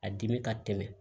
A dimi ka tɛmɛ